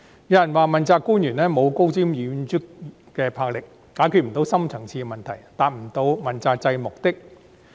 有人說道，問責官員沒有高瞻遠矚的魄力，不能解決深層次矛盾，不能達到問責制的目的。